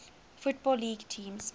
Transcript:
football league teams